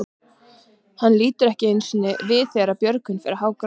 Hann lítur ekki einu sinni við þegar Björgvin fer að hágráta.